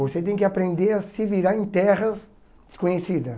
Você tem que aprender a se virar em terras desconhecida.